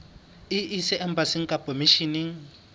e ise embasing kapa misheneng